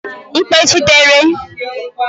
mkpechitere